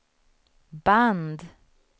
band